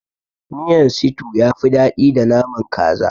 Miyan situ yafi daɗi da naman kaza.